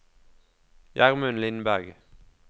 Gjermund Lindberg